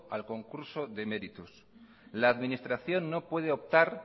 al concurso de méritos la administración no puede optar